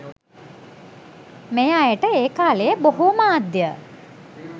මේ අයට ඒ කාලයේ බොහෝ මාධ්‍ය